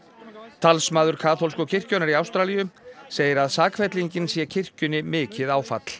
talsmaður kaþólsku kirkjunnar í Ástralíu segir að sakfellingin sé kirkjunni mikið áfall